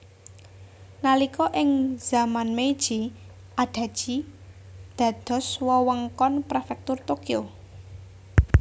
Nalika ing zaman Meiji Adachi dados wewengkon Prefektur Tokyo